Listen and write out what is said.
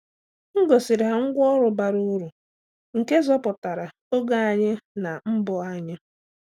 M gosiri ha ngwá ọrụ bara uru nke zọpụtara oge anyị na mbọ anyị.